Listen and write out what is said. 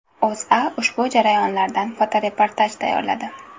O‘zA ushbu jarayondan fotoreportaj tayyorladi .